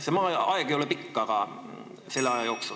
See aeg ei ole pikk, aga just selle aja jooksul.